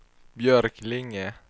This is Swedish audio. Björklinge